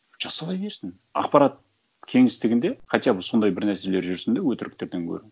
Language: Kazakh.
жасала берсін ақпарат кеңістігінде хотя бы сондай бір нәрселер жүрсін де өтіріктерден гөрі